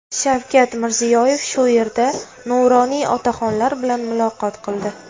Shavkat Mirziyoyev shu yerda nuroniy otaxonlar bilan muloqot qildi.